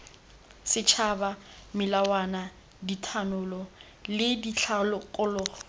setšhaba melawana dithanolo le dikgakololo